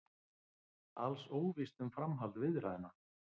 Alls óvíst um framhald viðræðna